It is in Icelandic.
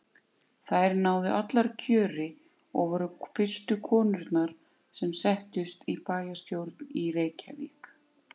Þær náðu allar kjöri og voru fyrstu konurnar sem settust í bæjarstjórn í Reykjavík.